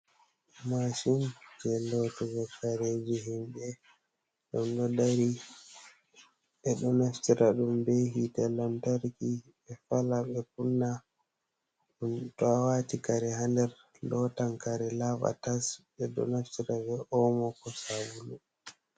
Mashin je lotugo kareji himɓe ɗum ɗo dari, ɓe ɗo naftira ɗum be hite lantarki ɓe fala ɓe kunna ɗum, to awati kare ha nder lotan karek laɓa tas, ɓe ɗo naftira be omo ko sabulu.